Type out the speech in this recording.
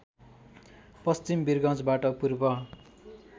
पश्चिम विरगञ्जबाट पूर्व